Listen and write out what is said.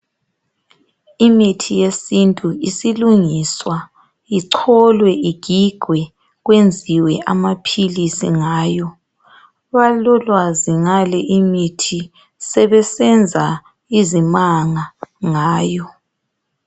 Imithi yesintu isilungiswa icholwe igigwe kwenziwe amaphilisi ngayo abalolwazi ngale imithi sebesenza izimanga ngayo.